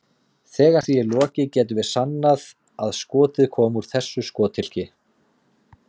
Þegar því er lokið getum við sannað að skotið kom úr þessu skothylki.